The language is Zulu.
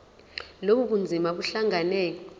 lobu bunzima buhlangane